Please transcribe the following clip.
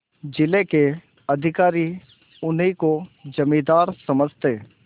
जिले के अधिकारी उन्हीं को जमींदार समझते